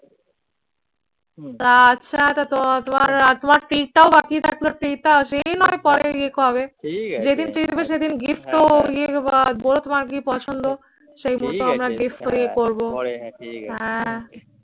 তা আচ্ছা তা তো তোমার আর তোমার treat টাও বাকি থাকলো treat টা সে না হয় পরে হবে। যেদিন treat দিবো সেদিন gift ও দিয়ে দিবো আর বলো তোমার কি পছন্দ সেই মতো আমরা gift ও ইয়ে করবো হ্যাঁ